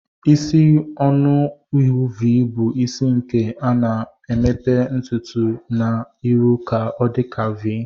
Isi ọnụ ihu v bu isi nke ana emepe ntutu na irụ ka ọdika v.